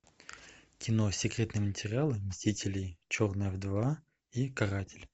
кино секретные материалы мстители и черная вдова и каратель